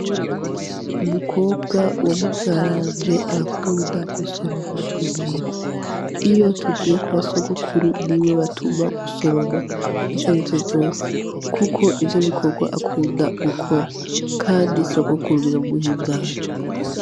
Umukobwa wa muvyaranje arakunda gusoroma mu mirima. Iyo tugiye kwa Sogokuru niwe batuma gusoroma ivyarivyo vyose, kuko nivyo bikorwa akunda gukora, kandi Sogokuru biramuhimbara.